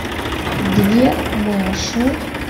две маши